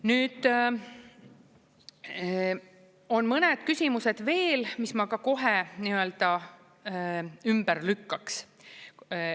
Nüüd, on mõned küsimused veel, mis ma ka kohe ümber lükkaks.